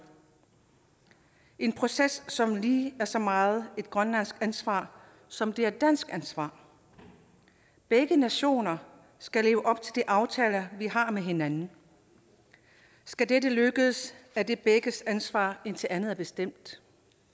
en proces som lige så meget et grønlandsk ansvar som det er et dansk ansvar begge nationer skal leve op til de aftaler vi har med hinanden skal dette lykkes er det begges ansvar indtil andet er bestemt